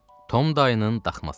Tom Dayın daxması.